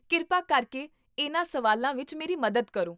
ਕਿਰਪਾ ਕਰਕੇ ਇਹਨਾਂ ਸਵਾਲਾਂ ਵਿੱਚ ਮੇਰੀ ਮਦਦ ਕਰੋ